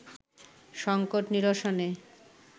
সংকট নিরসনে